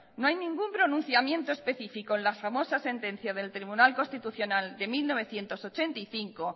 no hay ningún pronunciamiento específico en la famosa sentencia del tribunal constitucional de mil novecientos ochenta y cinco